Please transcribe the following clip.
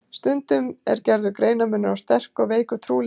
Stundum er gerður greinarmunur á sterku og veiku trúleysi.